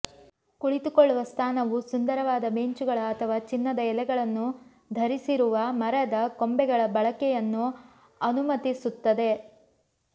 ಕುಳಿತುಕೊಳ್ಳುವ ಸ್ಥಾನವು ಸುಂದರವಾದ ಬೆಂಚುಗಳ ಅಥವಾ ಚಿನ್ನದ ಎಲೆಗಳನ್ನು ಧರಿಸಿರುವ ಮರದ ಕೊಂಬೆಗಳ ಬಳಕೆಯನ್ನು ಅನುಮತಿಸುತ್ತದೆ